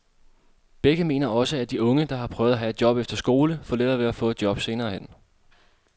Begge mener også, at de unge, der har prøvet at have et job efter skole, får lettere ved at få et job senere hen.